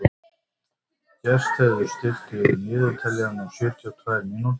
Gestheiður, stilltu niðurteljara á sjötíu og tvær mínútur.